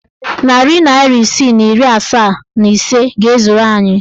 Narị naịra isii na iri asaa and ise ga-ezuru anyị.